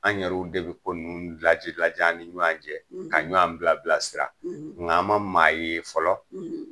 An yɛrɛu de bi ko laji lajɛ an ni ɲɔgɔn cɛ ka ɲɔgɔn bila bila sira. Nga an ma maa ye fɔlɔ